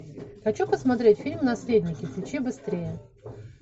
хочу посмотреть фильм наследники включи быстрее